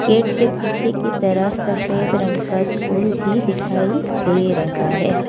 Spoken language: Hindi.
गेट की पीछे की तरफ सफेद रंग का स्कूल भी दिखाई दे रहा है।